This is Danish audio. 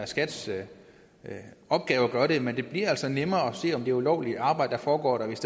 skats opgave at gøre det men det bliver altså nemmere at se om det er ulovligt arbejde der foregår der hvis